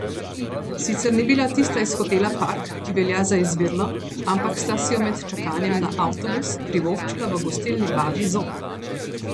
Sicer ni bila tista iz hotela Park, ki velja za izvirno, ampak sta si jo med čakanjem na avtobus privoščila v gostilni Babji zob.